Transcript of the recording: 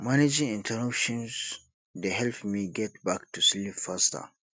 managing interruptions dey help me get back to sleep faster